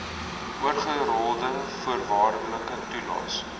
oorgerolde voorwaardelike toelaes